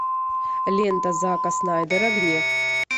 лента зака снайдера гнев